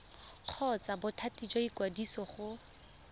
kgotsa bothati jwa ikwadiso go